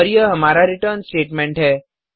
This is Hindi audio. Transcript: और यह हमारा रिटर्न स्टेटेमेंट है